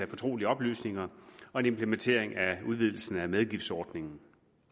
fortrolige oplysninger og en implementering af udvidelsen af medgiftsordningen